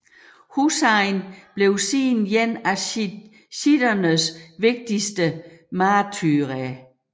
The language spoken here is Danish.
Husayn blev siden en af shiitternes vigtigste martyrer